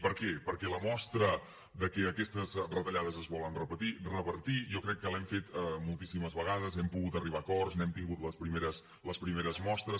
per què perquè la mostra de que aquestes retallades es volen revertir jo crec que l’hem fet moltíssimes vegades hem pogut arribar a acords n’hem tingut les primeres mostres